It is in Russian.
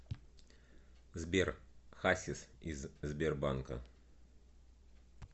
сбер хасис из сбербанка